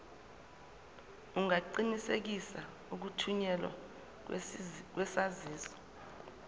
ungaqinisekisa ukuthunyelwa kwesaziso